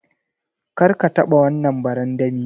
Kar ka taba wannan barandami.